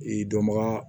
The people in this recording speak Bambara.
Ee dɔnbaga